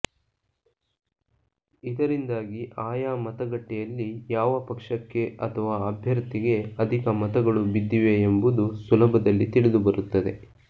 ಇದರಿಂದಾಗಿ ಆಯಾ ಮತಗಟ್ಟೆಯಲ್ಲಿ ಯಾವ ಪಕ್ಷಕ್ಕೆ ಅಥವಾ ಅಭ್ಯರ್ಥಿಗೆ ಅಧಿಕ ಮತಗಳು ಬಿದ್ದಿವೆಯೆಂಬುದು ಸುಲಭದಲ್ಲಿ ತಿಳಿದುಬರುತ್ತದೆ